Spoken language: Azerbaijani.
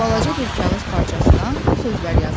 Balaca bir kağız parçasına bu sözlər yazılmışdı.